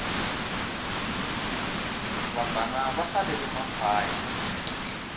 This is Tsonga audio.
vabvana va hlalele makhwaya